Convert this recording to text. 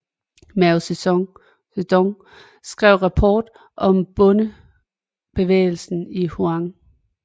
Mao Zedong skriver rapport om bondebevægelsen i Hunan